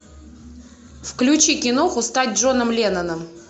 включи киноху стать джоном ленноном